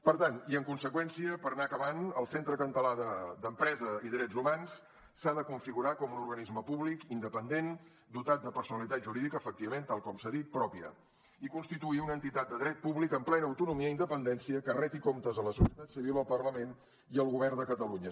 per tant i en conseqüència per anar acabant el centre català d’empresa i drets humans s’ha de configurar com un organisme públic independent dotat de personalitat jurídica efectivament tal com s’ha dit pròpia i constituir una entitat de dret públic amb plena autonomia i independència que reti comptes a la societat civil al parlament i al govern de catalunya